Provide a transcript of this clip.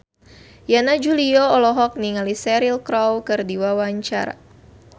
Yana Julio olohok ningali Cheryl Crow keur diwawancara